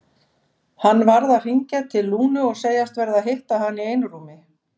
Hann varð að hringja til Lúnu og segjast verða að hitta hana í einrúmi.